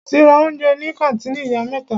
Mo ti ra oúnjẹ ní kàńtìnì ìyá mẹ́ta.